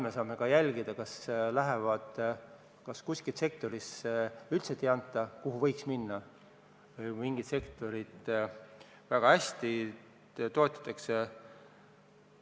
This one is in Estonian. Me saame ka jälgida, ega toetusi ei jagata nii, et mõnda sektorisse üldse ei anta, kuigi vaja oleks, või mingit sektorit jälle liiga hästi toetatakse.